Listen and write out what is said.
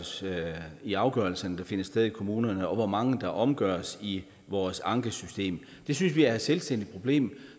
ser i de afgørelserne der finder sted i kommunerne og hvor mange der omgøres i vores ankesystem det synes vi er et selvstændigt problem